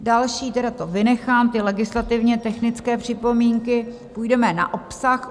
Další, tedy to vynechám, ty legislativně technické připomínky, půjdeme na obsah.